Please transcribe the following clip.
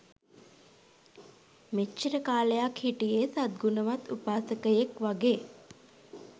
මෙච්චර කාලයක් හිටියේ සත් ගුණවත් උපාසකයෙක් වගේ.